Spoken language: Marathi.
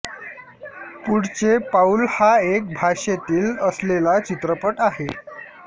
पुढचे पाऊल हा एक भाषेतील असलेला चित्रपट आहे